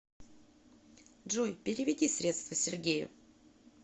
джой переведи средства сергею